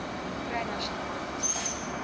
kry nasionale bevoegdheid